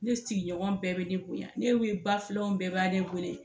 Ne sigiɲɔgɔn bɛɛ bɛ ne bonya, ne we bafilanw bɛɛ b'ale wele.